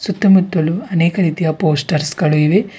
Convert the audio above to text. ಸುತ್ತಮುತ್ತಲು ಅನೇಕ ರೀತಿಯ ಪೋಸ್ಟರ್ಸ್ ಗಳು ಇವೆ.